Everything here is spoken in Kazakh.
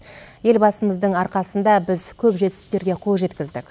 елбасымыздың арқасында біз көп жетістіктерге қол жеткіздік